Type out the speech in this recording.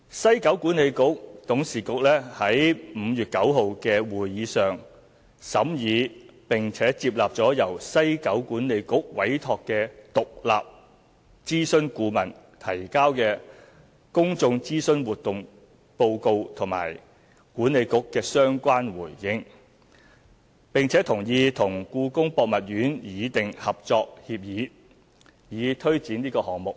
西九管理局董事局在5月9日的會議上審議並接納了由西九管理局委託的獨立諮詢顧問提交的公眾諮詢活動報告和西九管理局的相關回應，並同意與故宮博物院擬訂《合作協議》，以推展項目。